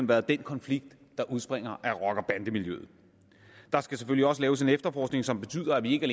været den konflikt der udspringer af rocker og bandemiljøet der skal selvfølgelig også laves en efterforskning som betyder at vi ikke